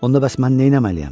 Onda bəs mən nə eləməliyəm?